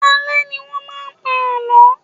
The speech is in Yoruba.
Alẹ́ ni wọn máa ń pa àlọ́.